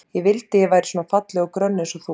Ég vildi að ég væri svona falleg og grönn eins og þú.